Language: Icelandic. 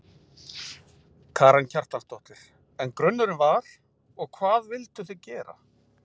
Karen Kjartansdóttir: En grunurinn var, og hvað vilduð þið gera?